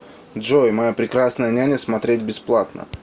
джой моя прекрасная няня смотреть бесплатно